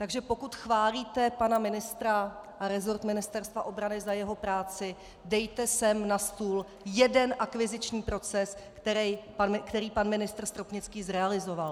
Takže pokud chválíte pana ministra a resort Ministerstva obrany za jeho práci, dejte sem na stůl jeden akviziční proces, který pan ministr Stropnický zrealizoval.